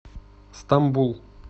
стамбул